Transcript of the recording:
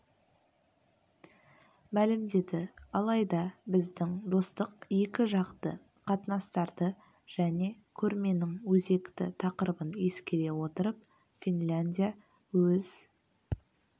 мәлімдеді алайда біздің достық екі жақты қатынастарды және көрменің өзекті тақырыбын ескере отырып финляндия өз